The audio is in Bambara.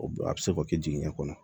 O a bɛ se k'o kɛ jiginɛ kɔnɔ